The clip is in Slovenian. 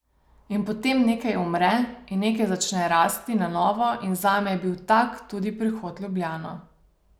In potem nekaj umre in nekaj začne rasti na novo in zame je bil tak tudi prihod v Ljubljano.